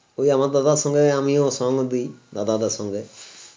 ঐ আমার দাদার সঙ্গে আমিও সঙ্গ দিই দাদাদের সঙ্গে